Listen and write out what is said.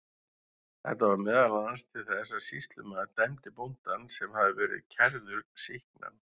Þetta varð meðal annars til þess að sýslumaður dæmdi bóndann, sem hafði verið kærður, sýknan.